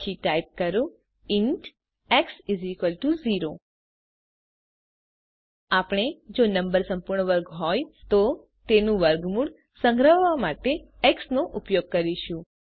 પછી ટાઇપ કરો int x 0 આપણે જો નંબર સંપૂર્ણ વર્ગ હોય તો તેનું વર્ગમૂળ સંગ્રહવા માટે એક્સ નો ઉપયોગ કરીશું